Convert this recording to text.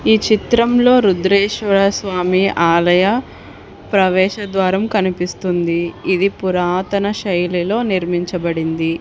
ఈ చిత్రంలో రుద్రేశ్వర స్వామి ఆలయ ప్రవేశద్వారం కనిపిస్తుంది ఇది పురాతన శైలిలో నిర్మించబడింది.